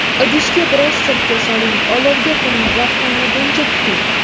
Idishga biroz sirka soling, olovga qo‘ying va qaynaguncha kuting.